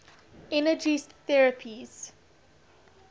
energy therapies